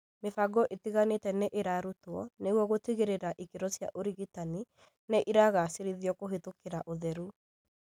Mĩbango ĩtiganĩte nĩ ĩrarutwo nĩguo gũtigĩrĩra ikĩro cia ũrigitani nĩ igacĩrithĩtio kũhĩtũkĩra ũtheru